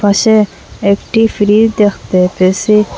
পাশে একটি ফ্রি দেখতে পেয়েসি।